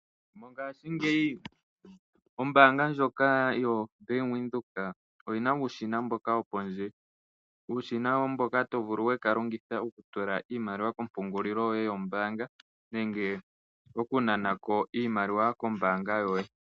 Mongaashingeyi ombaanga ndjoka yo Bank Windhoek oyina uushina mboka wopondje. Uushina mboka to vulu oku kalongitha okutula iimaliwa yoye kompungulilo yoye yombaanga nenge okunana ko iimaliwa kombaanga yoye.